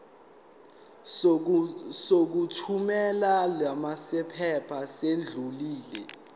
sokuthumela lamaphepha sesidlulile